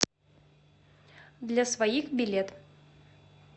для своих билет